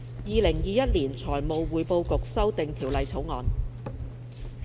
《2021年財務匯報局條例草案》。